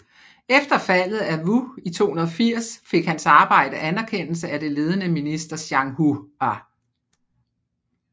Efter faldet af Wu i 280 fik hans arbejde anerkendelse af det ledende minister Zhang Hua